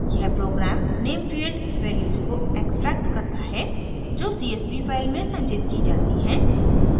यह program name field values को extract करता है जो csv फाइल में संचित की जाती हैं